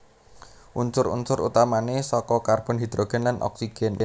Unsur unsur utamané saka karbon hidrogen lan oksigen